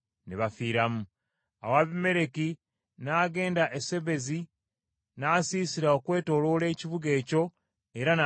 Awo Abimereki n’agenda e Sebezi, n’asiisira okwetooloola ekibuga ekyo era n’akiwamba.